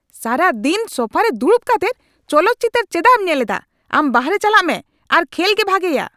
ᱥᱟᱨᱟᱫᱤᱱ ᱥᱳᱯᱷᱟ ᱨᱮ ᱫᱩᱲᱩᱵ ᱠᱟᱛᱮᱫ ᱪᱚᱞᱚᱛ ᱪᱤᱛᱟᱹᱨ ᱪᱮᱫᱟᱜᱮᱢ ᱧᱮᱞᱮᱫᱼᱟ ? ᱟᱢ ᱵᱟᱨᱦᱮ ᱪᱟᱞᱟᱜ ᱢᱮ ᱟᱨ ᱠᱷᱮᱞ ᱜᱮ ᱵᱷᱟᱜᱮᱭᱟ !